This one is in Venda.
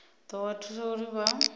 ḓo vha thusa uri vha